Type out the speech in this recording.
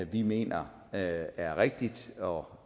vi mener er rigtig og